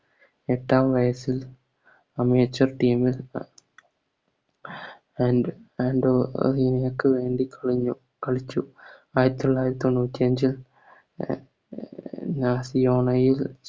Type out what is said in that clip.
എത്രാം വയസ്സിൽ Team ൽ And and കളിച്ചു ആയിരത്തിത്തൊള്ളായിരത്തി തൊണ്ണൂറ്റി അഞ്ചിൽ യിൽ